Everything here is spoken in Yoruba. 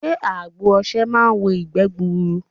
Sé àgbo osè máa n wo ìgbé gburu